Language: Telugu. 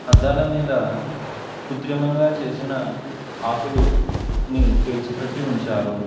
అద్దాల మీద కుత్రిమంగా చేసిన ఆకులు అన్ని పేర్చి పెట్టి ఉంచారు.